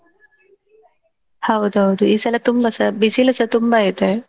ಹೌದೌದು ಈ ಸಲ ತುಂಬ ಸಾ ಬಿಸಿಲು ಸ ತುಂಬಾ ಇದೆ.